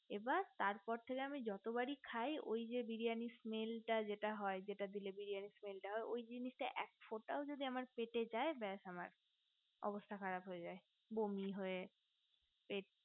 তার পর থেকে আমি যতবারই খাই ওই যে বিরিয়ানির smell টা যেটা হয় যেটা দিলে বিরিয়ানির smell টা হয় ওই জিনিসটা যদি একফোঁটাও আমার পেতে যাই বাস আমার অবস্থা খারাপ হয়ে যাই বমি হয়ে পেট